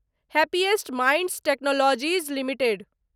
happiest Minds Technologies limited